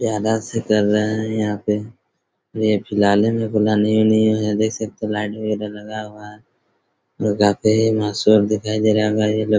यहाँ डांस कर रहे हैं यहाँ पे ये फिलहाल ही में बना देख सकते है लाइट वगैरह लगा हुआ है लगते है स्वर्ग दिखाई दे रहा हैं।